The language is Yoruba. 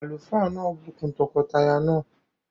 Àlùfáà náà bù kún tọkọtaya náà